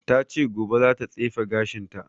Ta ce gobe za ta tsefe gashin ta